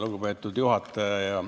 Lugupeetud juhataja!